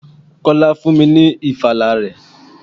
Kọ́lá fún mi ní ìfala rẹ̀.